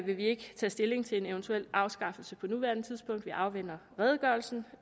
vil vi ikke tage stilling til en eventuel afskaffelse på nuværende tidspunkt vi afventer redegørelsen